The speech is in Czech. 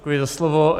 Děkuji za slovo.